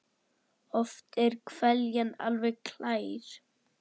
Oft er hveljan alveg glær.